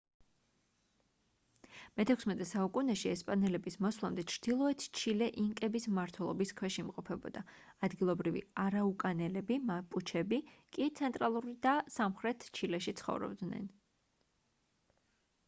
მე-16 საუკუნეში ესპანელების მოსვლამდე ჩრდილოეთ ჩილე ინკების მმართველობის ქვეშ იმყოფებოდა ადგილობრივი არაუკანელები მაპუჩები კი ცენტრალურ და სამხრეთ ჩილეში ცხოვრობდნენ